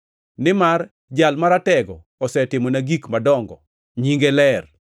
nimar Jal Maratego osetimona gik madongo, Nyinge ler.